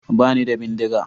Ba ni da bindiga.